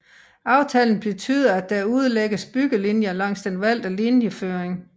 Aftalen betyder at der udlægges byggelinjer langs den valgte linjeføring